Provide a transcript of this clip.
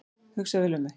Hugsa vel um mig